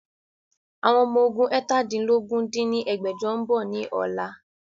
Àwọn Ọmọ ogún eétàdínlógún dín ní ẹgbẹ́jọ ń bọ̀ ni ọ̀la